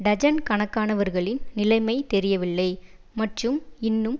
dozen கணக்கானவர்களின் நிலைமை தெரியவில்லை மற்றும் இன்னும்